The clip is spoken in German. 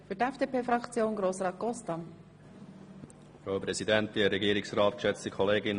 Dementsprechend werden wir die Rückweisung nicht unterstützen.